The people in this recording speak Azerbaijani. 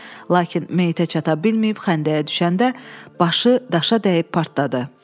Lakin meyitə çata bilməyib xəndəyə düşəndə başı daşa dəyib partladı.